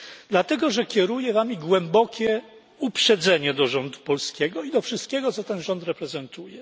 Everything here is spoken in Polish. Dlatego że kieruje wami głębokie uprzedzenie do rządu polskiego i do wszystkiego, co ten rząd reprezentuje.